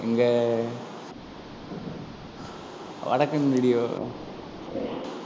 இங்க வடக்கன் video